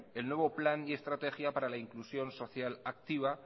el nuevo plan y estrategia para la inclusión social activa